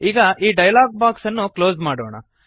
ಈಗ ಈ dialog box ಅನ್ನು ಕ್ಲೋಸ್ ಮಾಡೋಣ